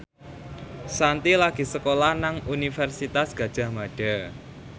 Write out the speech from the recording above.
Shanti lagi sekolah nang Universitas Gadjah Mada